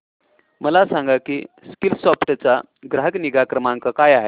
मला सांग की स्कीलसॉफ्ट चा ग्राहक निगा क्रमांक काय आहे